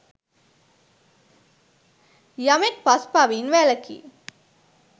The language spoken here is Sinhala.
යමෙක් පස් පවින් වැළකී